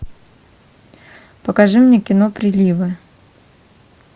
покажи мне кино приливы